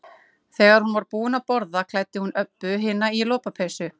Þegar hún var búin að borða klæddi hún Öbbu hina í lopapeysu.